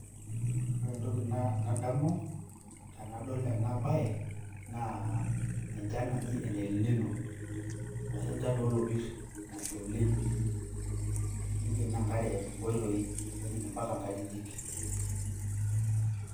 ore entoki nadamu tenadol enabae naa enchan naji ene lino ashu enchan oo lopir nasha oleng', nikenoo enkare inkoitoi nejing' ompaka ngajikjik.